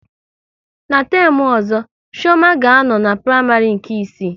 Ná temu ọzọ, Chioma ga a nọ n'praịmarị nke isii